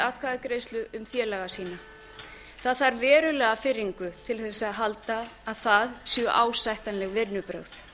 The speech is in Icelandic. atkvæðagreiðslu um félaga sína það þarf verulega firringu til að halda að það séu ásættanleg vinnubrögð